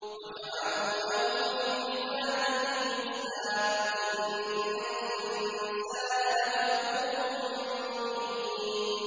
وَجَعَلُوا لَهُ مِنْ عِبَادِهِ جُزْءًا ۚ إِنَّ الْإِنسَانَ لَكَفُورٌ مُّبِينٌ